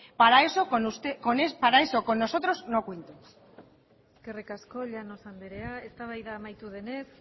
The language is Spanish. para eso con nosotros no cuenten eskerrik asko llanos andrea eztabaida amaitu denez